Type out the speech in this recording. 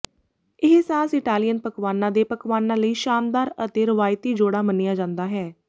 ਇਹ sauce Italian ਪਕਵਾਨਾਂ ਦੇ ਪਕਵਾਨਾਂ ਲਈ ਸ਼ਾਨਦਾਰ ਅਤੇ ਰਵਾਇਤੀ ਜੋੜਾ ਮੰਨਿਆ ਜਾਂਦਾ ਹੈ